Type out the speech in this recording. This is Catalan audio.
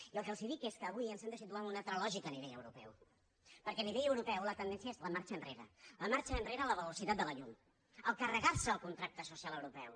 i el que els dic és que avui ens hem de situar en una altra lògica a nivell europeu perquè a nivell europeu la tendència és la marxa enrere la marxa enrere a la velocitat de la llum carregarse el contracte social europeu